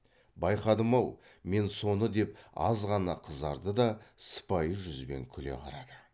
байқадым ау мен соны деп аз ғана қызарды да сыпайы жүзбен күле қарады